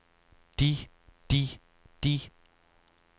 de de de